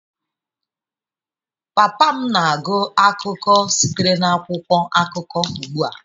Papa m na-agụ akụkọ sitere n'akwụkwọ akụkọ ugbua.